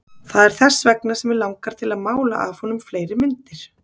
Það er þess vegna sem mig langar til að mála af honum fleiri myndir.